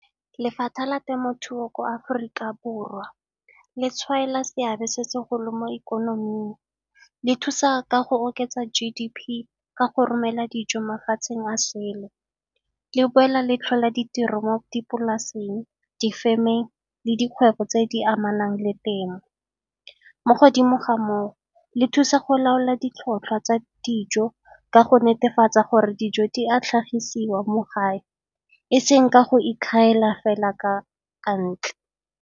la temothuo ko Aforika Borwa le tshwaela seabe se segolo mo ikonoming, le thusa ka go oketsa G_D_P ka go romela dijo mafatsheng a sele. Le boela le tlhola ditiro mo dipolaseng, difemeng le dikgwetlho tse di amanang le temo. Mo godimo ga moo le thusa go laola ditlhotlhwa tsa dijo ka go netefatsa gore dijo di a tlhagisiwa mo gae e seng ka go ikgaela fela ka ntle.